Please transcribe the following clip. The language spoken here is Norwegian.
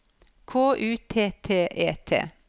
K U T T E T